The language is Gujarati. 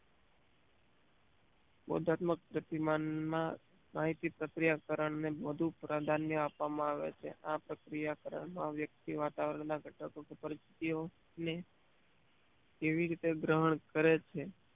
બોધાત્મક પ્રતિમાન માં માહિતી પ્રક્રિયા કરણ ને વધુ પ્રાધાન્ય આપવા માં આવે છે આ પ્રક્રિયા કરણ માં વ્યક્તિ વાતાવરણ ના ઘટકો કે પરીસ્થિતિયો ને કેવી રીતે ગ્રહણ કરે છે